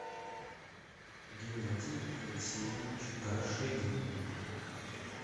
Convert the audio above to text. геннадий алексеевич горшенин